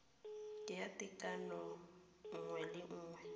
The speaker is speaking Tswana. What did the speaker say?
ya tekano nngwe le nngwe